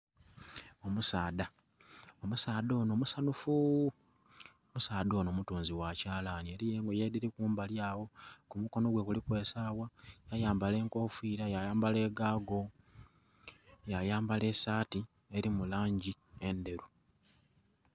Omusaadha, omusaadha onho musanhufu omusaadha onho mutunzi gha kyalaani eliyo engoye edhili kumbali agho omukono gwe guliku esagha. Yayambala enkofiira, ya yambala egaago, ya yambala esaati eli mu langi endheru.